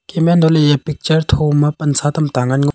keme untohley eya picture thoma pansa tuta ngan ngoley.